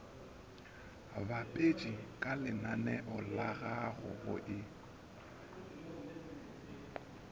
bapetše kalenaneo lagago go e